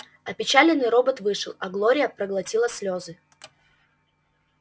опечаленный робот вышел а глория проглотила слёзы